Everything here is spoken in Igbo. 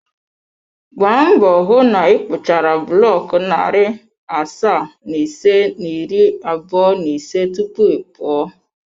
Gbaa mbọ hụ na ịkpụchara buloku narị asaa na ise na iri abụọ na ise tupu ị pụọ.